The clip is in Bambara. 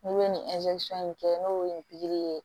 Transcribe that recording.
N'u bɛ nin in kɛ n'o ye nin ye